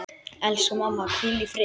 Elsku mamma, hvíl í friði.